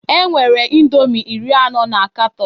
Enwere indomi iri anọ na katọn